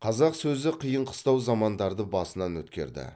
қазақ сөзі қиын қыстау замандарды басынан өткерді